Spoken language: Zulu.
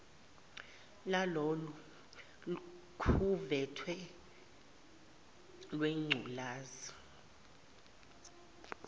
lalolu khuvethe lwengculazi